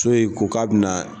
So in ko k'a bɛna